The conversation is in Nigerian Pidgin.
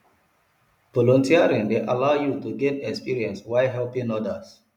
volunteering dey allow yu to gain experience while helping odas